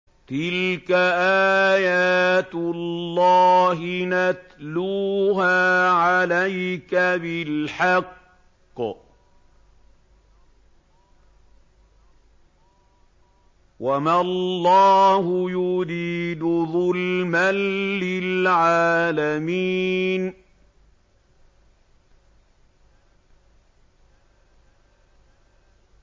تِلْكَ آيَاتُ اللَّهِ نَتْلُوهَا عَلَيْكَ بِالْحَقِّ ۗ وَمَا اللَّهُ يُرِيدُ ظُلْمًا لِّلْعَالَمِينَ